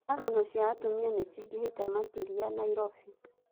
Njũragano cia atumia nĩ cingĩhĩte makĩria Nairobi.